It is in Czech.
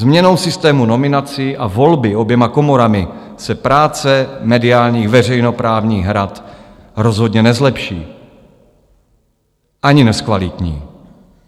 Změnou systému nominací a volby oběma komorami se práce mediálních veřejnoprávních rad rozhodně nezlepší ani nezkvalitní.